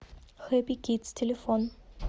хэпи кидс телефон